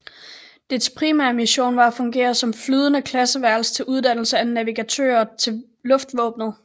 Dets primære mission var at fungere som flyvende klasseværelse til uddannelse af navigatører til luftvåbnet